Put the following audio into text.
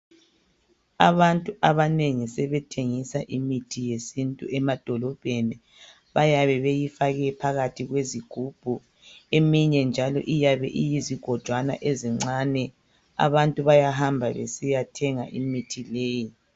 Abantu abanengi sebethengisa imithi yesintu emadolobheni bayabe beyifake phakathi kwezigubhu eminye njalo iyabe iyizigojwana ezincane abantu bayahamba besiya thenga imithi leyo